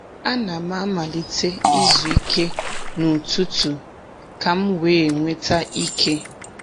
A na m amalite izu ike n’ututu ka m wee nweta ike.